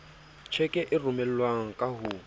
tjheke e romelwang ka ho